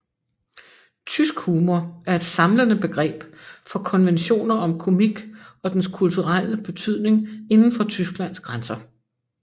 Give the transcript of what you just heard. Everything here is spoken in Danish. Tysk humor er et samlende begreb for konventioner om komik og dens kulturelle betydning inden for Tysklands grænser